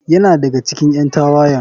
Yana daga cikin ƴan tawayen.